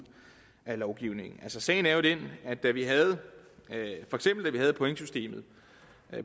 af lovgivningen altså sagen er jo den at da vi havde pointsystemet